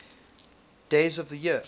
days of the year